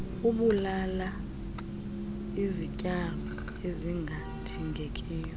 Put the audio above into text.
abulala izityalo ezingadingekiyo